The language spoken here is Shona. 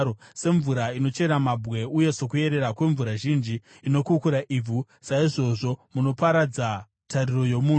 semvura inochera mabwe, uye sokuyerera kwemvura zhinji inokukura ivhu, saizvozvo munoparadza tariro yomunhu.